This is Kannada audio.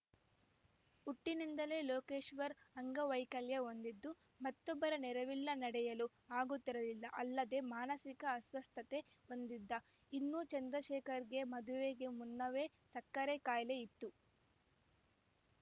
ಹುಟ್ಟಿನಿಂದಲೇ ಲೋಕೇಶ್ವರ್‌ ಅಂಗವೈಕಲ್ಯ ಹೊಂದಿದ್ದು ಮತ್ತೊಬ್ಬರ ನೆರವಿಲ್ಲ ನಡೆಯಲು ಆಗುತ್ತಿರಲಿಲ್ಲ ಅಲ್ಲದೆ ಮಾನಸಿಕ ಅಸ್ವಸ್ಥತೆ ಹೊಂದಿದ್ದ ಇನ್ನು ಚಂದ್ರಶೇಖರ್‌ಗೆ ಮದುವೆಗೆ ಮುನ್ನವೇ ಸಕ್ಕರೆ ಕಾಯಿಲೆ ಇತ್ತು